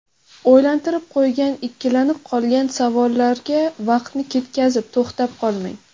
O‘ylantirib qo‘ygan, ikkilanib qolgan savollarga vaqtni ketkazib, to‘xtab qolmang.